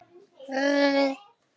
Mig dreymdi pabba þinn í nótt.